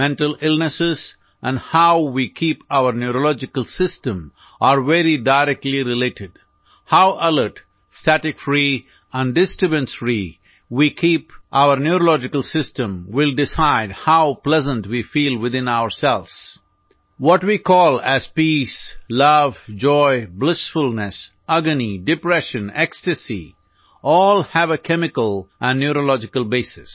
mental illness and how we keep our neurological system are very directly related how alert static free and disturbance free we keep neurological system will decide how pleasant we feel within ourselves what we call as peace love joy blissfulness agony depression ecstasies all have a chemical and neurological basis